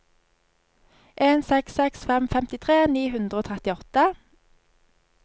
en seks seks fem femtitre ni hundre og trettiåtte